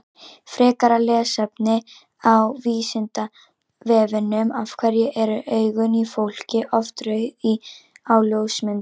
Frekara lesefni á Vísindavefnum Af hverju eru augun í fólki oft rauð á ljósmyndum?